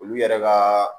Olu yɛrɛ ka